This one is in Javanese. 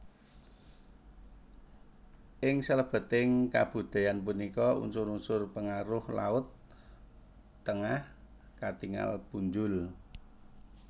Ing salebeting kabudayan punika unsur unsur pengaruh laut Tengah katingal punjul